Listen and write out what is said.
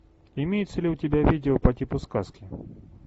имеется ли у тебя видео по типу сказки